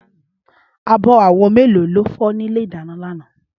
Ábò áwò méló ló fò ni ilé idàná làná?